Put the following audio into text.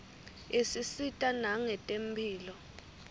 isisita nangetemphilo